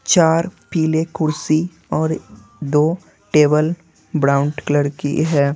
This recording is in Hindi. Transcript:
चार पीले कुर्सी और दो टेबल ब्राउन्ड कलर की है।